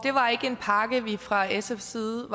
var ikke en pakke vi fra sfs side